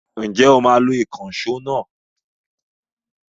Ǹjẹ́ o máa lo ìkànṣó náà?